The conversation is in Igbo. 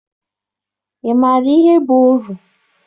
Ị maara ihe bụ oru?